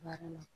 Baara la